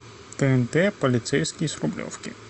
тнт полицейский с рублевки